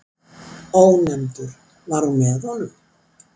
Ónefndur: Var hún með honum?